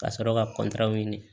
Ka sɔrɔ ka ɲini